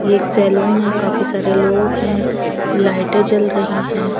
ये एक सैलून है काफी सारे लोग हैं लाइटें जल रही हैं।